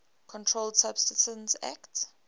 controlled substances acte